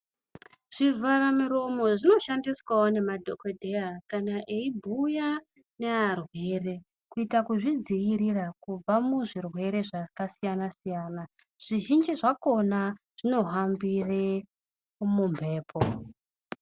Zvivhara muromo zvinoshandiswawo ngma dhokodheya kana eibhuya nearwere kuita kuzvidziira kubva muzvirwere zvakasiyana siyana, zvizhinji zvakhona zvinohambire mumbepo.